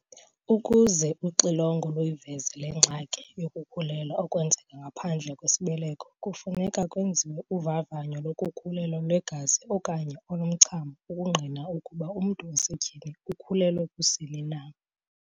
Ukuze uxilongo luyiveze le ngxaki yokukhulelwa okwenzeka ngaphandle kwesibeleko kufuneka kwenziwe uvavanyo lokukhulelwa lwegazi okanye olomchamo ukungqina ukuba umntu wasetyhini ukhulelwe kusini na.